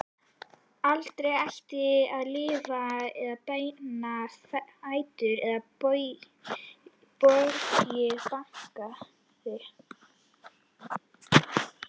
Aldrei ætti að lyfta með beina fætur eða bogið bakið.